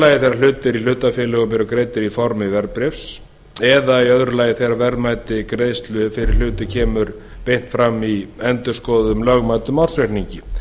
þegar hlutir í hlutafélögum eru greiddir í formi verðbréfs eða í öðru lagi þegar verðmæti greiðslu fyrir hluti kemur beint fram í endurskoðuðum lögmæltum ársreikningi